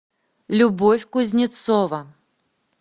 любовь кузнецова